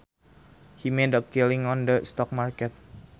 He made a killing on the stock market